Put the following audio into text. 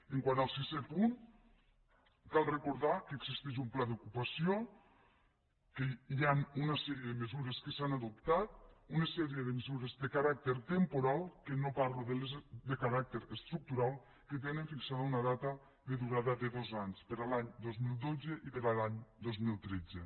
quant al sisè punt cal recordar que existeix un pla d’ocupació que hi han una sèrie de mesures que s’han adoptat una sèrie de mesures de caràcter temporal que no parlo de les de caràcter estructural que tenen fixada una data de durada de dos anys per a l’any dos mil dotze i per a l’any dos mil tretze